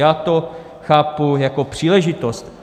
Já to chápu jako příležitost.